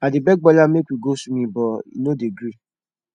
i dey beg bola make we go swimming but he no dey gree